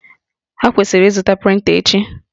Ha kwesịrị ịzụta prịnta echi?